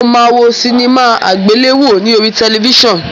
Mó má wo sinimá àgbéléwò ní orí tẹlifíṣàn